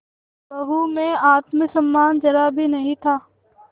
बहू में आत्म सम्मान जरा भी नहीं था